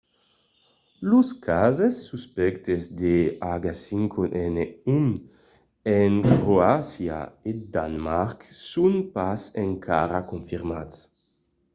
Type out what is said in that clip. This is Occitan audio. los cases suspèctes de h5n1 en croàcia e danemarc son pas encara confirmats